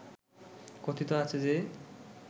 কথিত আছে যে